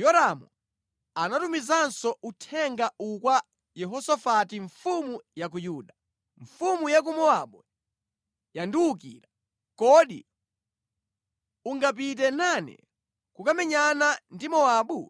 Yoramu anatumizanso uthenga uwu kwa Yehosafati mfumu ya ku Yuda: “Mfumu ya ku Mowabu yandiwukira. Kodi ungapite nane kukamenyana ndi Mowabu?”